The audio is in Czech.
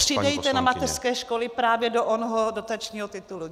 Přidejte na mateřské školy právě do onoho dotačního titulu!